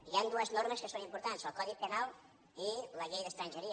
hi han dues normes que són importants el codi penal i la llei d’estrangeria